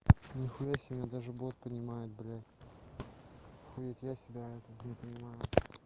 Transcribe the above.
нихуя себе даже бот понимает блядь охуеть я себя не понимаю